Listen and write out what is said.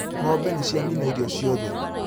Ng'ombe nĩ cianina irio ciothe